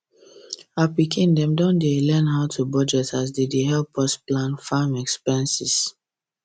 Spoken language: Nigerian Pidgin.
our pikin dem don dey learn how to budget as dem dey help us plan farm expenses